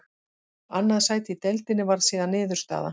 Annað sæti í deildinni varð síðan niðurstaða.